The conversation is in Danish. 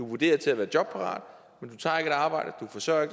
vurderet til at være jobparat men du tager ikke et arbejde du forsørger